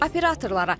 Operatorlara.